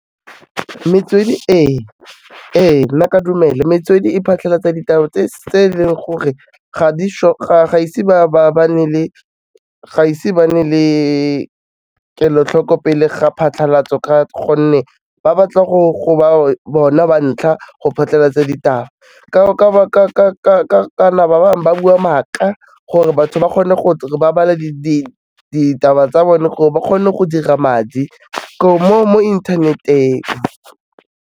Metswedi e, ee nna ke a dumela, metswedi e phatlhalatsa ditaba tse e leng gore ga di-sure, ga ise ba nne le kelotlhoko pele ga phatlhalatso ka gonne ba batla go ba bona ba ntlha go phatlalatsa ditaba, kana ba bangwe ba bua maaka, gore batho ba kgone bale ditaba tsa bone gore ba kgone go dira madi mo inthaneteng.